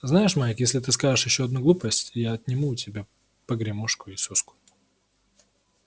знаешь майк если ты скажешь ещё одну глупость я отниму у тебя погремушку и соску